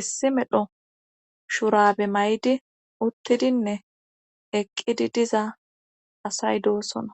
issi medho shurabe may7di uttidinne eqqidi diza asay doosona